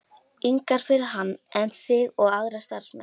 ingar fyrir hann en þig og aðra starfsmenn.